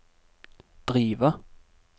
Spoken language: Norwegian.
drive